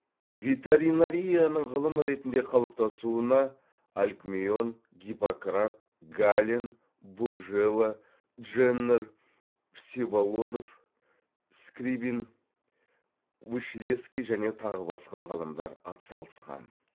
ветеринарияның ғылым ретінде қалыптасуына алкмеон гиппократ гален буржела дженнер всеволодов скрибин вышелесский және тағы басқа ғалымдар атсалысқан